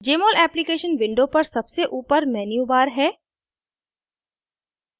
jmol application window पर सबसे ऊपर menu bar है